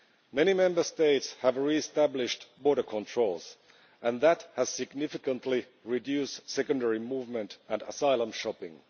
Many Member States have re-established border controls and that has significantly reduced secondary movement and asylum shopping.